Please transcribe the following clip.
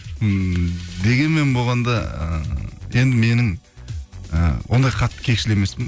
ммм дегенмен болғанда ыыы енді менің ы ондай қатты кекшіл емеспін